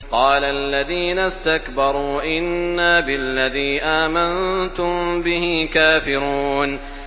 قَالَ الَّذِينَ اسْتَكْبَرُوا إِنَّا بِالَّذِي آمَنتُم بِهِ كَافِرُونَ